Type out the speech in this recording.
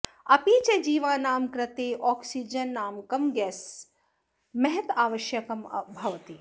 अपि च जीवानां कृते आँक्सीजननामकं गैसं महदावश्यकं भवति